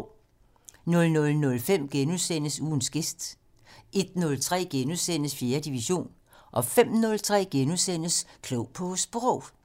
00:05: Ugens gæst * 01:03: 4. division * 05:03: Klog på Sprog *